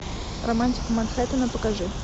романтика манхеттена покажи